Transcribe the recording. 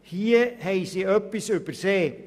Hier haben Sie etwas übersehen.